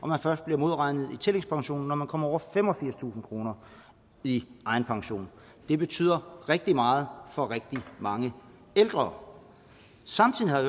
man først bliver modregnet i tillægspensionen når man kommer over femogfirstusind kroner i egen pension det betyder rigtig meget for rigtig mange ældre samtidig har